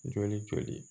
Joli joli